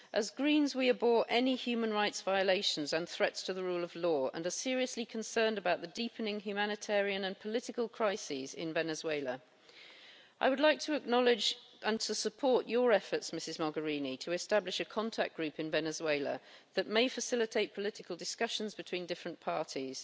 As Greens, we abhor any human rights violations and threats to the rule of law and are seriously concerned about the deepening humanitarian and political crisis in Venezuela. I would like to acknowledge and support your efforts, Ms Mogherini, to establish a contact group in Venezuela that may facilitate political discussions between different parties.